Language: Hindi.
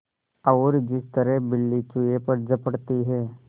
और जिस तरह बिल्ली चूहे पर झपटती है